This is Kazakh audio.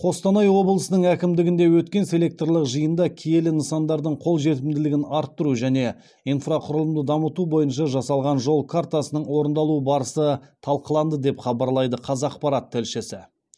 қостанай облысының әкімдігінде өткен селекторлық жиында киелі нысандардың қолжетімділігін арттыру және инфрақұрылымды дамыту бойынша жасалған жол картасының орындалу барысы талқыланды деп хабарлайды қазақпарат тілшісі